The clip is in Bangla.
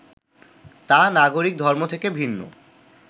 তা নাগরিক ধর্ম থেকে ভিন্ন